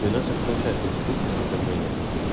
и у нас это получается действительно более-менее